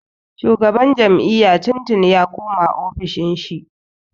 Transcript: Shugaban jam'iyya tun tuni ya koma ofishin shi.